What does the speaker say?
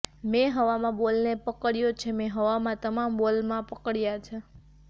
મેં હવામાં બોલને પકડ્યો છે મેં હવામાં તમામ બોલમાં પકડ્યા છે